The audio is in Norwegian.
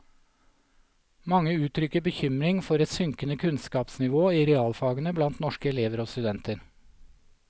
Mange uttrykker bekymring for et synkende kunnskapsnivå i realfagene blant norske elever og studenter.